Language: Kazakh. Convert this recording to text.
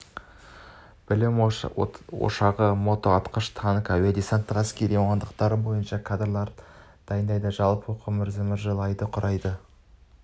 білім ошағы мотоатқыш танкті әуе-десанттық әскерлер мамандықтары бойынша кадрларды дайындайды жалпы оқу мерзімі жыл айды құрайды